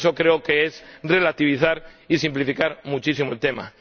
Eso creo que es relativizar y simplificar muchísimo el tema.